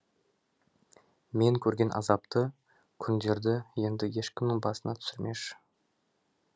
мен көрген азапты күндерді енді ешкімнің басына түсірмеші